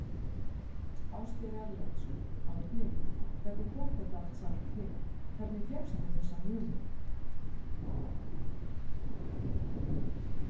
Ásgeir Erlendsson: Árni hvernig kom þetta allt saman til, hvernig fékkst þú þessa hugmynd?